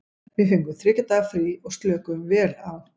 Við fengum þriggja daga frí og slökuðum vel á.